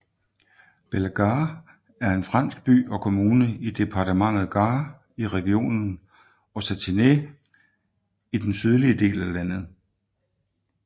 Bellegarde er en fransk by og kommune i departementet Gard i regionen Occitanie i den sydlige del af landet